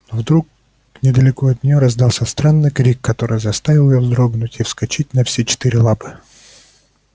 но вдруг недалеко от нее раздался странный крик который заставил её вздрогнуть и вскочить на все четыре лапы